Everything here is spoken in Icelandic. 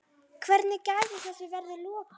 Hvernig gæti þessu verið lokið?